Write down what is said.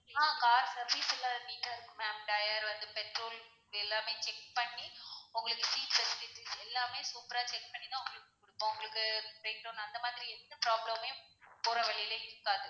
ஆஹ் car service ல neat டா இருக்கு ma'am tyre வந்து petrol எல்லாமே check பண்ணி உங்களுக்கு எல்லாமே super ரா check பண்ணி தான் உங்களுக்கு, உங்களுக்கு breakdown அந்த மாதிரி எந்த problem மே போற வழியில இருக்காது.